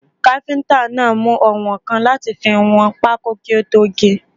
Káfíntà náà mú oùnwọ̀nkan láti fi wọn pákó kí ó tó ge.